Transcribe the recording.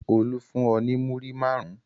Olú fún ọ ní múrí márùn-ún?